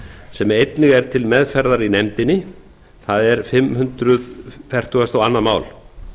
sem einnig er til meðferðar í nefndinni það er fimm hundruð fertugasta og önnur mál